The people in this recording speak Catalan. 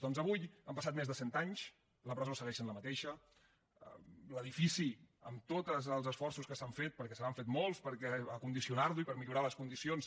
doncs avui han passat més de cent anys la presó segueix sent la mateixa l’edifici amb tots els esforços que s’han fet perquè se n’han fet molts per condicionar lo i per millorar ne les condicions